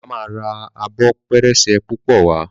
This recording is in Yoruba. bàbá má rà Abọ́ pẹrẹsẹ púpọ wá.